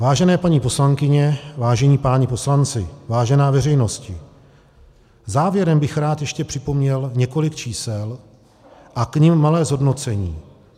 Vážené paní poslankyně, vážení páni poslanci, vážená veřejnosti, závěrem bych rád ještě připomněl několik čísel a k nim malé zhodnocení.